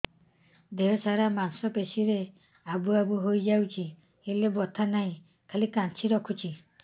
ଦେହ ସାରା ମାଂସ ପେଷି ରେ ଆବୁ ଆବୁ ହୋଇଯାଇଛି ହେଲେ ବଥା ନାହିଁ ଖାଲି କାଞ୍ଚି ରଖୁଛି